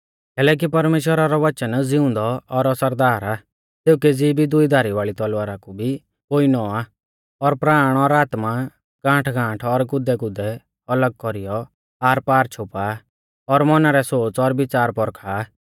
कैलैकि परमेश्‍वरा रौ वचन ज़िउंदौ और असरदार आ सेऊ केज़ी भी दुई धारी वाल़ी तलवारा कु भी पोइनौ आ और प्राण और आत्मा गांठगांठ और गुदैगुदै अलग कौरीयौ आरपार छ़ोपा और मौना रै सोच़ और विच़ार पौरखा